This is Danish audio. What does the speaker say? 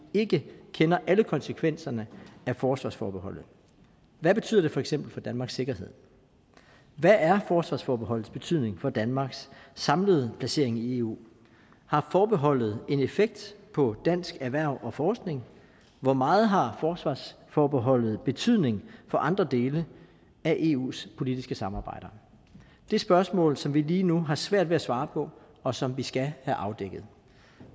ikke kender alle konsekvenserne af forsvarsforbeholdet hvad betyder det for eksempel for danmarks sikkerhed hvad er forsvarsforbeholdets betydning for danmarks samlede placering i eu har forbeholdet en effekt på dansk erhverv og forskning hvor meget har forsvarsforbeholdet betydning for andre dele af eus politiske samarbejder det er spørgsmål som vi lige nu har svært ved at svare på og som vi skal have afdækket